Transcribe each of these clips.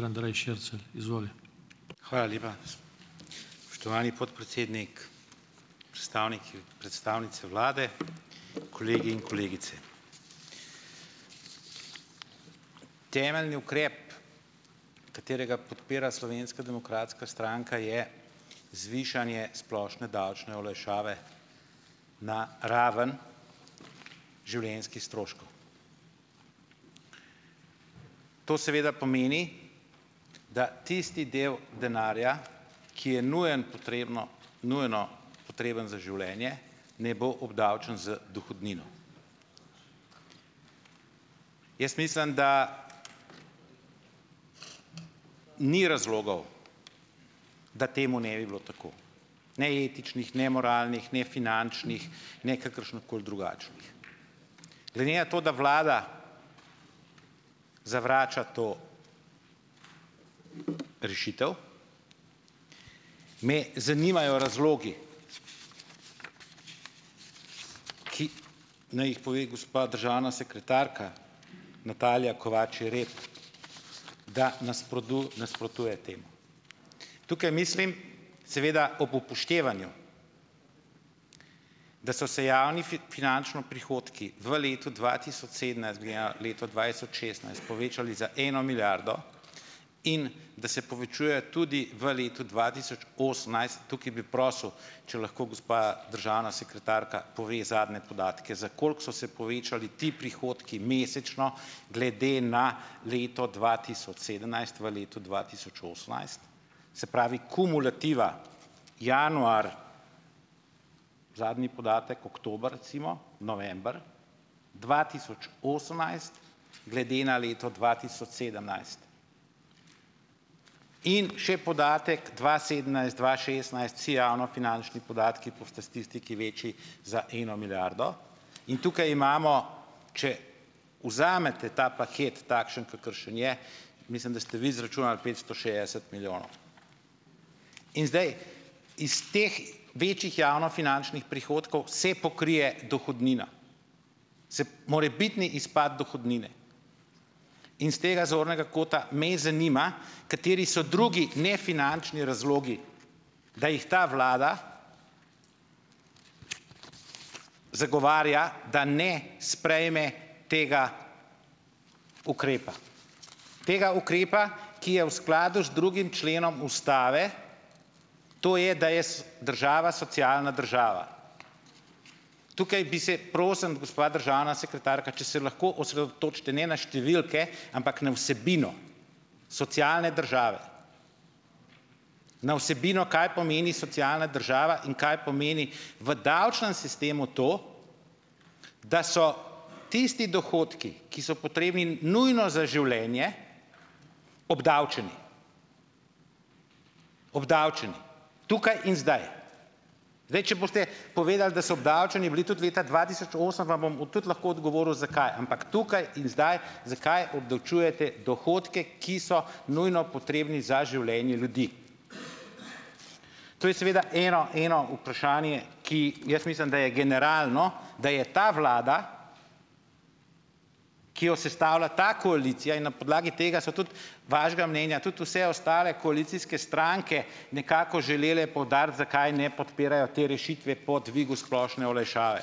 Hvala lepa, spoštovani podpredsednik, predstavniki, predstavnice vlade, kolegi in kolegice. Temeljni ukrep, katerega podpira Slovenska demokratska stranka, je zvišanje splošne davčne olajšave na raven življenjskih stroškov. To seveda pomeni, da tisti del denarja, ki je nujen potrebno, nujno potreben za življenje, ne bo obdavčen z dohodnino. Jaz mislim, da ni razlogov, da temu ne bi bilo tako - ne etičnih, ne moralnih, ne finančnih, ne kakršenkoli drugačnih. Glede na to, da vlada zavrača to rešitev, me zanimajo razlogi, ki naj jih pove gospa državna sekretarka Natalija Kovač Jereb, da nasprotuje temu. Tukaj mislim, seveda ob upoštevanju, da so se javni finančno prihodki v letu dva tisoč sedemnajst glede na leto dva tisoč šestnajst povečali za eno milijardo in da se povečuje tudi v letu dva tisoč osemnajst - tukaj bi prosil, če lahko gospa državna sekretarka pove zadnje podatke, za koliko so se povečali ti prihodki mesečno glede na leto dva tisoč sedemnajst v letu dva tisoč osemnajst, se pravi kumulativa januar, zadnji podatek oktober, recimo, november, dva tisoč osemnajst glede na leto dva tisoč sedemnajst, in še podatek dva sedemnajst, dva šestnajst, vsi javnofinančni podatki po statistiki več za eno milijardo, in tukaj imamo, če vzamete ta paket takšen, kakršen je, mislim, da ste vi izračunali petsto šestdeset milijonov. In zdaj iz teh več javnofinančnih prihodkov se pokrije dohodnina, se morebitni izpad dohodnine, in iz tega zornega kota me zanima, kateri so drugi nefinančni razlogi, da jih ta vlada zagovarja, da ne sprejme tega ukrepa - tega ukrepa, ki je v skladu z drugim členom ustave, to je, da je država socialna država. Tukaj bi se, prosim, gospa državna sekretarka, če se lahko osredotočite ne na številke, ampak na vsebino socialne države. Na vsebino, kaj pomeni socialna država in kaj pomeni v davčnem sistemu to, da so tisti dohodki, ki so potrebni nujno za življenje, obdavčeni. Obdavčeni tukaj in zdaj. Zdaj, če boste povedali, da so obdavčeni bili tudi leta dva tisoč osem, vam bom tudi lahko odgovoril zakaj, ampak tukaj in zdaj, zakaj obdavčujete dohodke, ki so nujno potrebni za življenje ljudi. To je seveda ena eno vprašanje, ki jaz mislim, da je generalno, da je ta vlada, ki jo sestavlja ta koalicija, in na podlagi tega so tudi vašega mnenja tudi vse ostale koalicijske stranke, nekako želele poudariti, zakaj ne podpirajo te rešitve po dvigu splošne olajšave.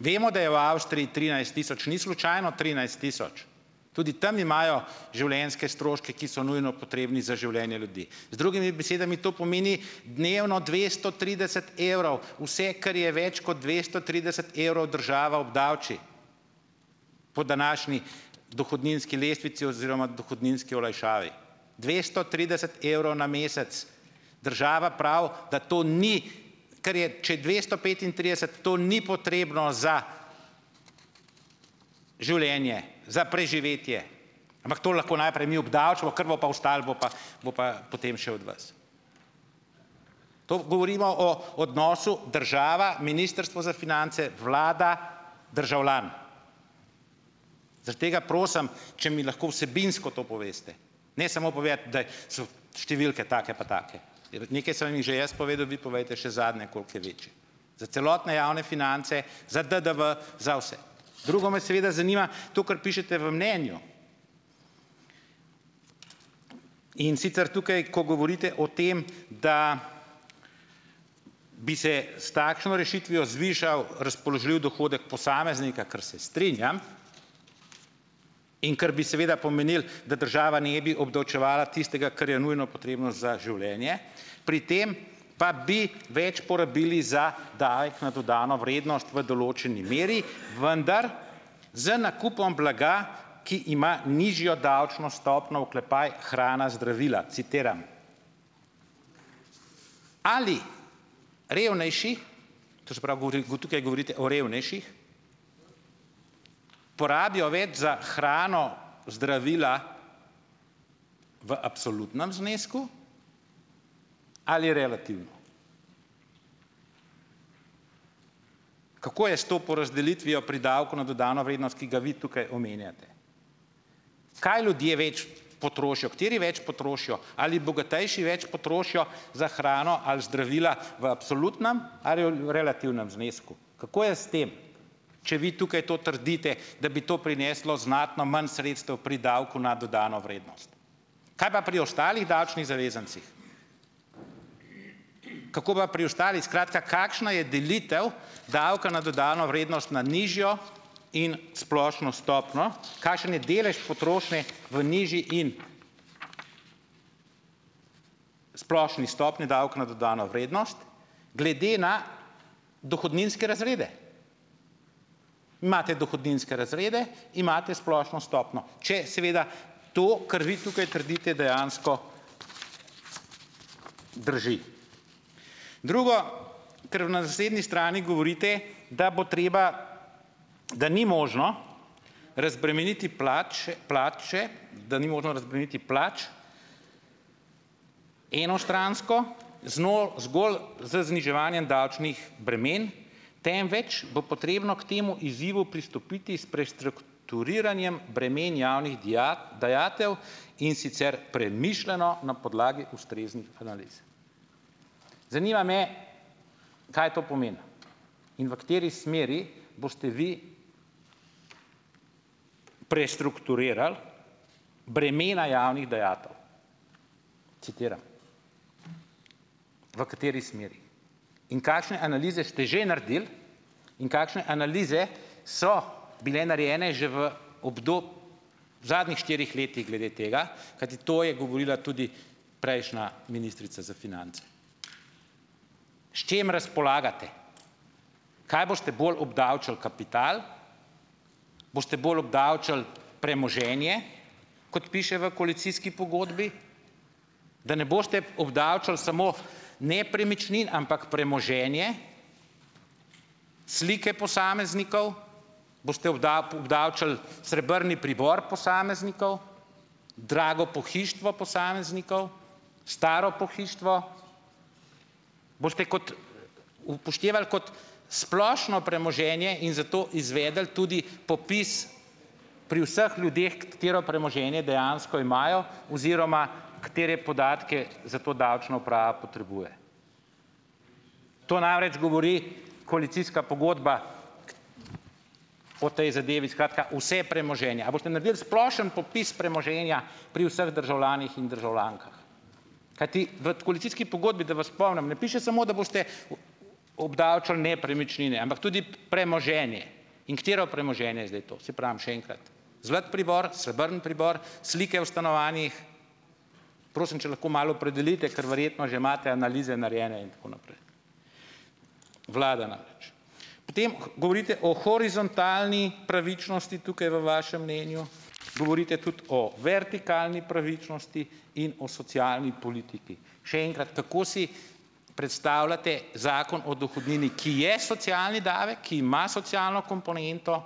Vemo, da je v Avstriji trinajst tisoč, ni slučajno trinajst tisoč. Tudi tam imajo življenjske stroške, ki so nujno potrebni za življenje ljudi, z drugimi besedami to pomeni dnevno dvesto trideset evrov, vse, kar je več kot dvesto trideset evrov, država obdavči po današnji dohodninski lestvici oziroma dohodninski olajšavi - dvesto trideset evrov na mesec. Država pravi, da to ni, ker je, če je dvesto petintrideset, to ni potrebno za življenje, za preživetje, ampak to lahko najprej mi obdavčimo, kar bo pa ostalo, bo pa, bo pa potem še od vas. To govorimo o odnosu država, Ministrstvo za finance, vlada, državljan. Zaradi tega prosim, če mi lahko vsebinsko to poveste. Ne samo povedati, da so številke take pa take, nekaj sem vam jih že jaz povedal, vi povejte še zadnje, koliko je večji, za celotne javne finance, za DDV, za vse. Drugo me seveda zanima to, kar pišete v mnenju. In sicer tukaj, ko govorite o tem, da bi se s takšno rešitvijo zvišal razpoložljivi dohodek posameznika, kar se strinjam, in kar bi seveda pomenilo, da država ne bi obdavčevala tistega, kar je nujno potrebno za življenje, pri tem pa bi več porabili za davek na dodano vrednost v določeni meri, "vendar z nakupom blaga, ki ima nižjo davčno stopnjo oklepaj hrana, zdravila", citiram. Ali revnejši to se pravi, tukaj govorite o revnejših - porabijo več za hrano, zdravila v absolutnem znesku ali relativno. Kako je s to porazdelitvijo pri davku na dodano vrednost, ki ga vi tukaj omenjate? Kaj ljudje več potrošijo? Kateri več potrošijo? Ali bogatejši več potrošijo za hrano ali zdravila v absolutnem ali v relativnem znesku? Kako je s tem? Če vi tukaj to trdite, da bi to prineslo znatno manj sredstev pri davku na dodano vrednost. Kaj pa pri ostalih davčnih zavezancih? Kako pa pri ostalih? Skratka, kakšna je delitev davka na dodano vrednost na nižjo in splošno stopnjo, kakšen je delež potrošnje v nižji in splošni stopnji davka na dodano vrednost glede na dohodninske razrede. Imate dohodninske razrede, imate splošno stopnjo, če seveda to, kar vi tukaj trdite, dejansko drži. Drugo, kar na naslednji strani govorite, da bo treba, da ni možno razbremeniti plače plače, da ni možno razbremeniti plač enostransko, zgolj z zniževanjem davčnih bremen, temveč bo potrebno k temu izzivu pristopiti s prestrukturiranjem bremen javnih dajatev, in sicer premišljeno, na podlagi ustreznih analiz. Zanima me, kaj to pomeni in v kateri smeri boste vi "prestrukturirali bremena javnih dajatev", citiram. V kateri smeri? In kakšne analize ste že naredili in kakšne analize so bile narejene že v v zadnjih štirih letih glede tega, kajti to je govorila tudi prejšnja ministrica za finance. S čim razpolagate? Kaj boste bolj obdavčili, kapital? Boste bolj obdavčili premoženje, kot piše v koalicijski pogodbi, da ne boste obdavčili samo nepremičnin, ampak premoženje, slike posameznikov? Boste obdavčili srebni pribor posameznikov? Drago pohištvo posameznikov? Staro pohištvo? Boste kot upoštevali kot splošno premoženje in zato izvedli tudi popis pri vseh ljudeh, katero premoženje dejansko imajo oziroma katere podatke za to davčna uprava potrebuje. To namreč govori koalicijska pogodba o tej zadevi, skratka, vse premoženje. A boste naredili splošni popis premoženja pri vseh državljanih in državljankah? Kajti v koalicijski pogodbi - da vas spomnim - ne piše samo, da boste obdavčili nepremičnine, ampak tudi premoženje. In katero premoženje je zdaj to? Saj pravim, še enkrat, zlat pribor, srebrn pribor, slike v stanovanjih? Prosim, če lahko malo opredelite, ker verjetno že imate analize narejene in tako naprej, vlada namreč. Ker tem govorite o horizontalni pravičnosti tukaj v vašem mnenju, govorite tudi o vertikalni pravičnosti in o socialni politiki. Še enkrat, kako si predstavljate Zakon o dohodnini, ki je socialni davek, ki ima socialno komponento?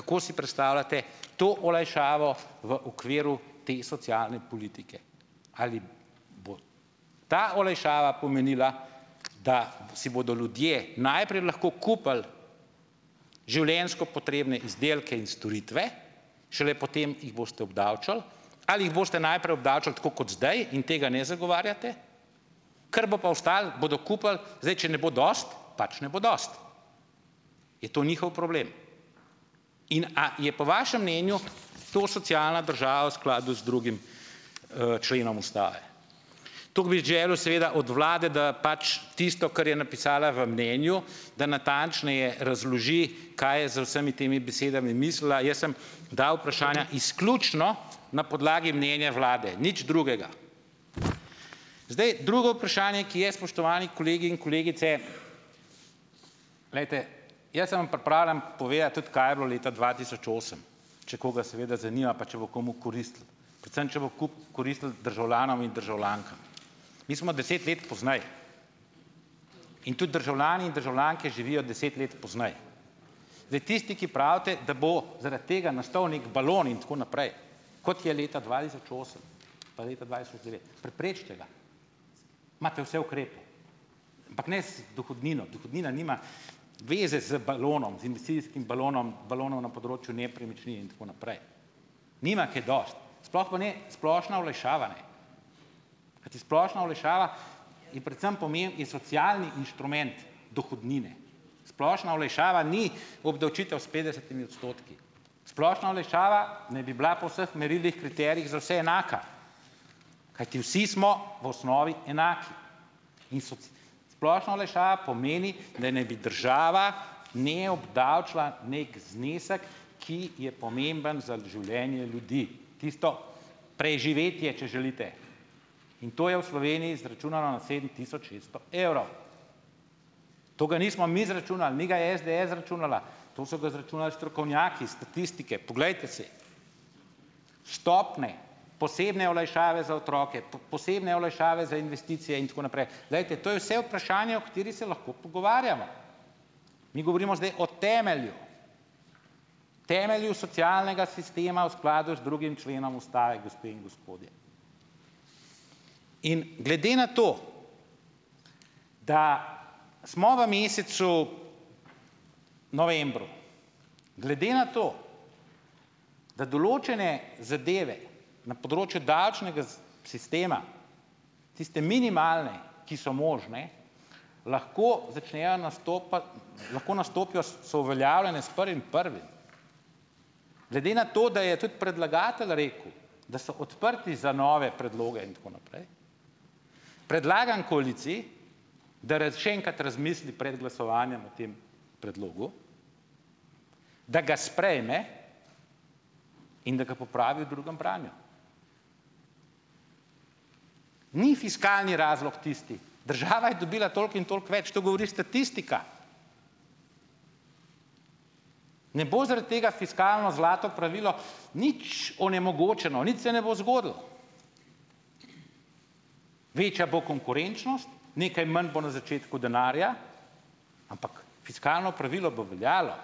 Kako si predstavljate to olajšavo v okviru te socialne politike? Ali bo ta olajšava pomenila, da si bodo ljudje najprej lahko kupili življenjsko potrebne izdelke in storitve, šele potem jih boste obdavčili, ali jih boste najprej obdavčili, tako kot zdaj, in tega ne zagovarjate, kar bo pa ostalo, bodo kupili; zdaj, če ne bo dosti, pač ne bo dosti. Je to njihov problem. In a je po vašem mnenju to socialna država v skladu z drugim členom Ustave? Toliko bi želel seveda od vlade, da pač tisto, kar je napisala v mnenju, da natančneje razloži, kaj je z vsemi temi besedami mislila, jaz sem dal vprašanja izključno na podlagi mnenja vlade. Nič drugega. Zdaj, drugo vprašanje, ki je, spoštovani kolegi in kolegice, glejte, jaz sem vam pripravljen povedati tudi, kaj je bilo leta dva tisoč osem. Če koga seveda zanima, pa če bo komu koristilo. Predvsem če bo koristilo državljanom in državljankam. Mi smo deset let pozneje. In tudi državljani in državljanke živijo deset let pozneje. Zdaj, tisti, ki pravite, da bo zaradi tega nastal neki balon in tako naprej, kot je leta dva tisoč osem pa leta dva tisoč devet, preprečite ga! Imate vse ukrepe. Ampak ne z dohodnino, dohodnina nima veze z balonom, z investicijskim balonom, balonom na področju nepremičnin in tako naprej. Nima kaj dosti. Sploh pa ne splošna olajšava, ne. Kajti splošna olajšava je predvsem pomeni socialni inštrument dohodnine. Splošna olajšava ni obdavčitev s petdesetimi odstotki. Splošna olajšava naj bi bila po vseh merilih, kriterijih za vse enaka, kajti vsi smo v osnovi enaki. In splošna olajšava pomeni, da naj bi država ne obdavčila nek znesek, ki je pomemben za življenje ljudi, tisto preživetje, če želite. In to je v Sloveniji izračunano na sedem tisoč šeststo evrov. To ga nismo mi izračunali, ni ga SDS izračunala, to so ga izračunali strokovnjaki statistike, poglejte si. Stopnje, posebne olajšave za otroke, posebne olajšave za investicije in tako naprej, glejte, to je vse vprašanje, o katerih se lahko pogovarjamo. Mi govorimo zdaj o temelju, temelju socialnega sistema v skladu z drugim členom Ustave, gospe in gospodje. In glede na to, da smo v mesecu novembru, glede na to, da določene zadeve na področju davčnega sistema, tiste minimalne, ki so možne, lahko začnejo nastopati, lahko nastopijo, so uveljavljene s prvim prvim. Glede na to, da je tudi predlagatelj rekel, da so odprti za nove predloge in tako naprej, predlagam koaliciji, da še enkrat razmisli pred glasovanjem o tem predlogu, da ga sprejme in da ga popravi v drugem branju. Ni fiskalni razlog tisti, država je dobila toliko in toliko več, to govori statistika. Ne bo zaradi tega fiskalno zlato pravilo nič onemogočeno, nič se ne bo zgodilo. Večja bo konkurenčnost, nekaj manj bo na začetku denarja, ampak fiskalno pravilo bo veljalo.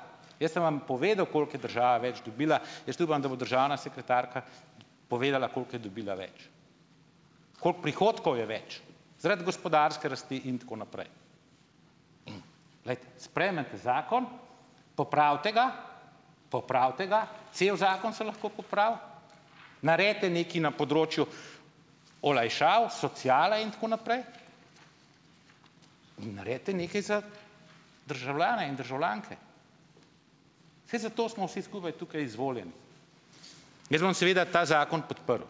Jaz sem vam povedal, koliko je država več dobila. Jaz upam, da bo državna sekretarka povedala, koliko je dobila več. Koliko prihodkov je več zaradi gospodarske rasti in tako naprej. Glejte, sprejmete zakon, popravite ga, popravite ga, cel zakon se lahko popravi, naredite nekaj na področju olajšav, sociale in tako naprej in naredite nekaj za državljane in državljanke. Saj zato smo vsi skupaj tukaj izvoljeni. Jaz bom seveda ta zakon podprl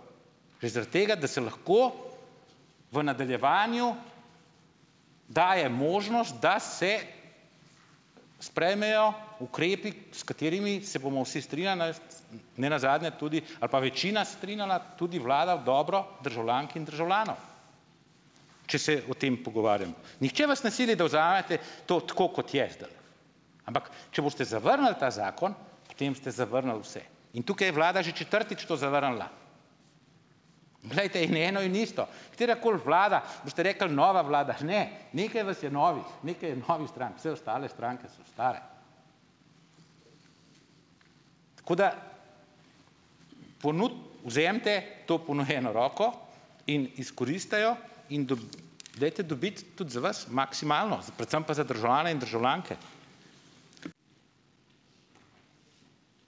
že zaradi tega, da se lahko v nadaljevanju daje možnost, da se sprejmejo ukrepi, s katerimi se bomo vsi strinjali nenazadnje tudi, ali pa večina strinjala, tudi vlada v dobro državljank in državljanov, če se o tem pogovarjamo. Nihče vas ne sili, da vzamete to tako, kot je zdajle, ampak, če boste zavrnili ta zakon, potem ste zavrnili vse. In tukaj je vlada že četrtič to zavrnila. Glejte, in eno in isto. Katerakoli vlada, boste rekli, nova vlada, ne, nekaj vas je novih, nekaj je novih strank, vse ostale stranke so stare. Tako da ponudi, vzemite to ponujeno roko in izkoristite jo in dajte dobiti tudi za vas maksimalno, predvsem pa za državljane in državljanke.